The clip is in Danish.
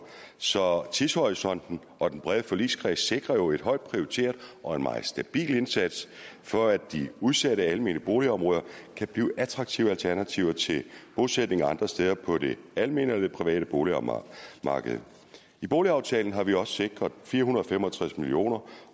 så tidshorisonten og den brede forligskreds sikrer jo et højt prioriteret og en meget stabil indsats for at de udsatte almene boligområder kan blive attraktive alternativer til bosætninger andre steder på det almene eller det private boligmarked i boligaftalen har vi også sikret fire hundrede og fem og tres million